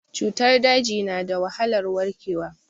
Cutar daji na da wahalar warkewa.